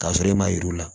K'a sɔrɔ e ma yir'u la